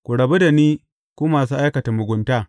Ku rabu da ni, ku masu aikata mugunta!’